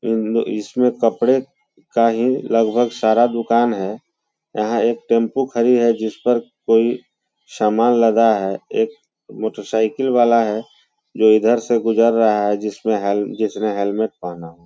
इनमें इसमें कपड़े का ही लगभग सारा दुकान है यहाँ एक टेम्पू खड़ी है जिस पर कोई समान लगा है एक मोटर साइकिल वाला है जो इधर से गुजर रहा है जिसमें जिसने हेलमेंट पहना है ।